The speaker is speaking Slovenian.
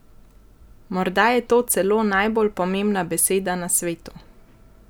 Morda je to celo najbolj pomembna beseda na svetu!